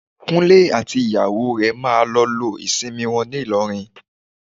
Kúnlé àti ìyàwó rẹ̀ máa lọ lo ìsinmi wọn ní Ìlọrin